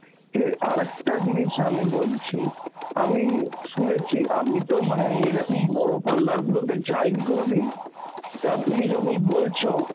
এ আর একটা জিনিস আমি বলছি, আমি শুনেছি আমি তো মানে এরকম বড় parlour গুলোতে যাইনি কোনদিন, তা তুমি যখন বলছ